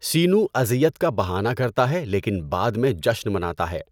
سینو اذیت کا بہانہ کرتا ہے لیکن بعد میں جشن مناتا ہے۔